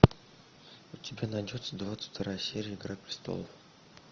у тебя найдется двадцать вторая серия игра престолов